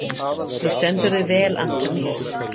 Þú stendur þig vel, Antoníus!